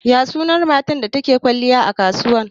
Ya sunan matar da take kwalliya a kasuwa?